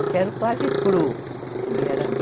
Eu quero quase cru. e era